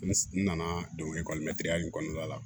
N nana donkili in kɔnɔna la